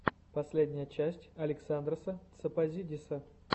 последняя часть александроса тсопозидиса